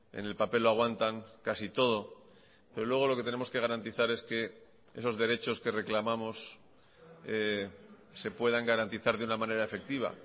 en el papel lo aguantan casi todo pero luego lo que tenemos que garantizar es que esos derechos que reclamamos se puedan garantizar de una manera efectiva